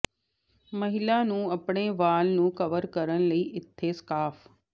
ਮਹਿਲਾ ਨੂੰ ਆਪਣੇ ਵਾਲ ਨੂੰ ਕਵਰ ਕਰਨ ਲਈ ਇੱਥੇ ਸਕਾਰਫ਼